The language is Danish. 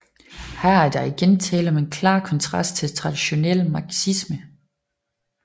Her er der igen tale om en klar konstrast til traditionel marxisme